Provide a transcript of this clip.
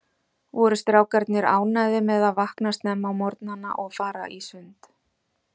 Voru strákarnir ánægðir með að vakna snemma á morgnanna og fara í sund?